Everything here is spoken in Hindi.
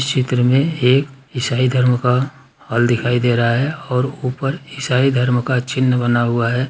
चित्र में एक ईसाई धर्म का हॉल दिखाई दे रहा है और ऊपर ईसाई धर्म का चिन्ह बना हुआ है।